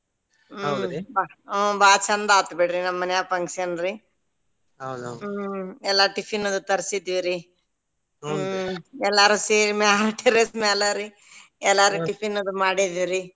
ಹ್ಮ್ ಬಾಳ ಚಂದಾ ಆತ್ ಬಿಡ್ರಿ ನಮ್ಮ ಮನ್ಯಾಗ್ function ರೀ ಎಲ್ಲ tiffin ತರ್ಸಿದ್ವಿರಿ ಎಲ್ಲಾರು ಸೇರಿ ಮ್ಯಾಲ್ terrace ಮ್ಯಾಲರಿ ಎಲ್ಲಾರು tiffin ಅದು ಮಾಡಿದಿವ್ರಿ.